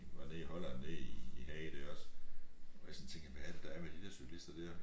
Var nede i Holland nede i i Haag der også hvor jeg sådan tænker hvad er det der er med de der cykelister der